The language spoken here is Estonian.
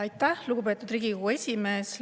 Aitäh, lugupeetud Riigikogu esimees!